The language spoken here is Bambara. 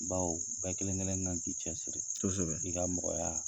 Baw bɛɛ kelen kelen kan k'i cɛ siri i ka mɔgɔya